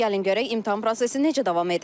Gəlin görək imtahan prosesi necə davam edir?